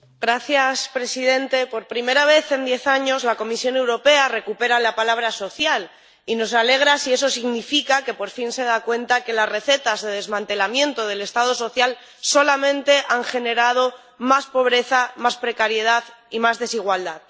Señor presidente, por primera vez en diez años la Comisión Europea recupera la palabra social y esto nos alegra si eso significa que por fin se da cuenta de que las recetas de desmantelamiento del Estado social solamente han generado más pobreza, más precariedad y más desigualdad.